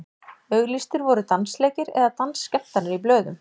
auglýstir voru dansleikir eða dansskemmtanir í blöðum